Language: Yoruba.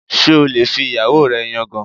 Ṣé o lè fi ìyàwó rẹ yangàn?